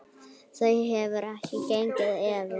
Það hefur ekki gengið eftir.